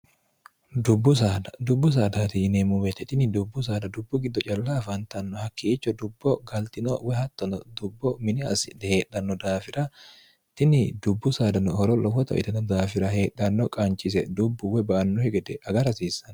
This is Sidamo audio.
dubbu sad dubbu saadati yineemmu meeeini dubbu saada dubbu giddo calla afantanno hakkiicho dubbo galtino we hattono dubbo mini assidhi heedhanno daafira tini dubbu saadano horo lowo itno daafira heedhanno qaanchise dubbuuwe ba annohe gede agarhasiissan